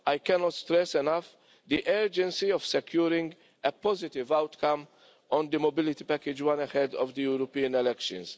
I cannot stress enough the urgency of securing a positive outcome on the Mobility Package I ahead of the European elections.